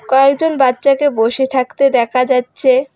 কয়েকজন বাচ্চাকে বসে থাকতে দেখা যাচ্ছে।